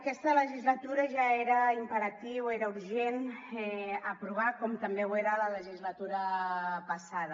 aquesta legislatura ja era imperatiu era urgent aprovar ho com també ho era la legislatura passada